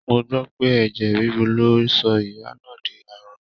Mo gbọ́ pé ẹ̀jẹ̀ ríru ló sọ ìyá náà di arọ